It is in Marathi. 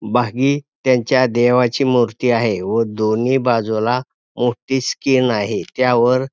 बाघी त्यांच्या देवाची मूर्ती आहे व दोन्ही बाजूला मोठी स्किन आहे त्यावर --